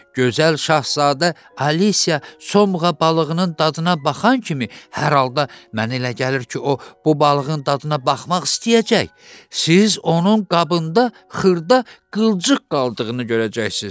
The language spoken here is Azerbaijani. Gözəl Şahzadə Alisiya Somğa balığının dadına baxan kimi, hər halda mənə elə gəlir ki, o bu balığın dadına baxmaq istəyəcək, siz onun qabında xırda qılçıq qaldığını görəcəksiz.